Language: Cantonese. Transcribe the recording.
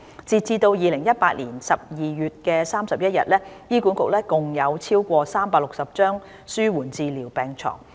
截至2018年12月31日，醫管局共有超過360張紓緩治療病床。